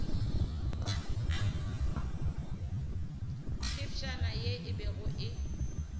phefšana ye e bego e